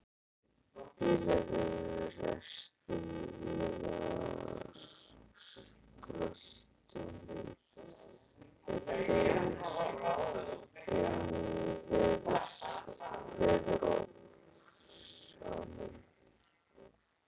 Bílar eru ræstir og vélarskröltið deyr inní veðurofsanum.